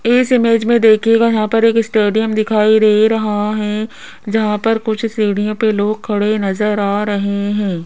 इस इमेज में देखिएगा यहां पर एक स्टेडियम दिखाई दे रहा है जहां पर कुछ सीढ़ियां पर लोग खड़े नजर आ रहे हैं।